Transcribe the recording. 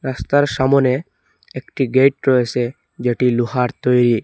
রাস্তার সামোনে একটি গেট রয়েছে যেটি লোহার তৈরি।